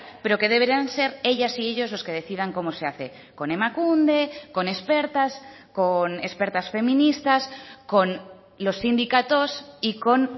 pero que deberán ser ellas y ellos los que decidan cómo se hace con emakunde con expertas con expertas feministas con los sindicatos y con